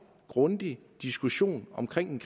og grundig diskussion omkring